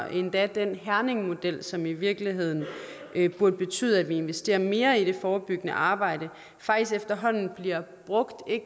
endda den herningmodel som i virkeligheden burde betyde at vi investerer mere i det forebyggende arbejde faktisk efterhånden bliver brugt